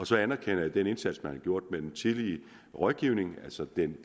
så anerkender jeg den indsats man har gjort med den tidlige rådgivning altså den